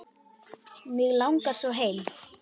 Mig langar svo heim.